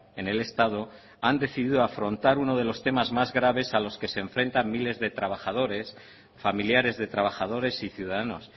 en el estado han decidido afrontar uno de los temas más graves a los que se enfrentan miles de trabajadores familiares de trabajadores y ciudadanos